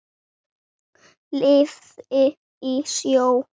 Lifði í sjó.